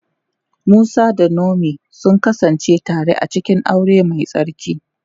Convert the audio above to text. Musa da Naomi sun kasance tare a cikin aure mai tsarki.